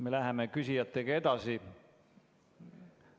Me läheme küsijatega edasi.